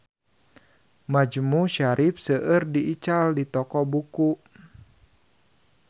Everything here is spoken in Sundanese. Majmu Syarif seueur diical di toko buku